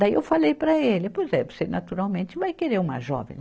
Daí eu falei para ele, pois é, você naturalmente vai querer uma jovem, né.